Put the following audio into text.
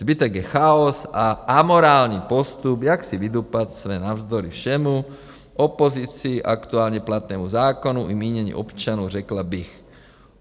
Zbytek je chaos a amorální postup, jak si vydupat své navzdory všemu - opozici, aktuálně platnému zákonu i mínění občanů, řekla bych.